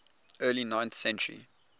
early ninth century